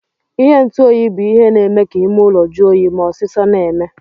Ihe ntụ oyi bu ihe na eme ka ime ụlọ jụọ oyi ma osisọ na eme.